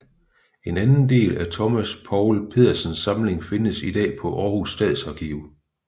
En anden del af Thomas Poul Pedersens samling findes i dag på Aarhus Stadsarkiv